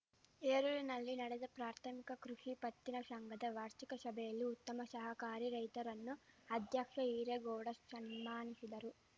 ಹೇರೂರಿನಲ್ಲಿ ನಡೆದ ಪ್ರಾಥಮಿಕ ಕೃಷಿ ಪತ್ತಿನ ಶಂಘದ ವಾರ್ಷಿಕ ಶಭೆಯಲ್ಲಿ ಉತ್ತಮ ಶಹಕಾರಿ ರೈತರನ್ನು ಅಧ್ಯಕ್ಷ ಈರೇಗೌಡ ಶನ್ಮಾನಿಶಿದರು